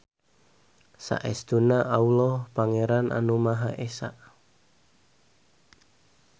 Saestuna Alloh Pangeran anu Maha Esa.